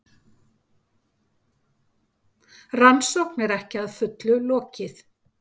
Rannsókn er ekki að fullu lokið